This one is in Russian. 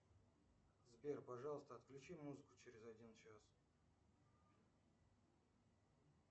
сбер пожалуйста отключи музыку через один час